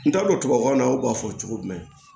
N t'a dɔn tubabukan na u b'a fɔ cogo jumɛn